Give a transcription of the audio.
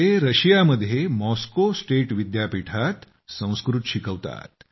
ते रशियामध्ये Moscow state विद्यापीठात संस्कृत शिकवतात